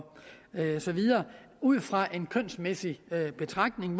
så videre ud fra en kønsmæssig betragtning